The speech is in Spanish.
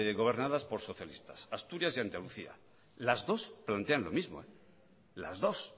gobernadas por socialistas asturias y andalucía las dos plantean lo mismo las dos